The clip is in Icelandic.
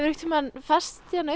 tímann fest hérna uppi